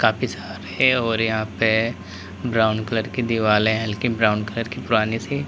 काफी सारे और यहां पे ब्राउन कलर की दीवालें हैं हल्की ब्राउन कलर की पुरानी सी।